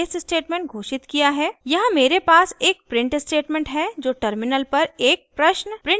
यहाँ मेरे पास एक print स्टेटमेंट है जो टर्मिनल पर एक प्रश्न प्रिंट करेगा